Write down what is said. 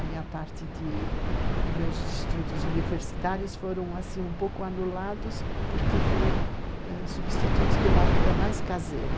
A minha parte dos meus estudos universitários foram, assim, um pouco anulados porque foram substituídos pela vida mais caseira.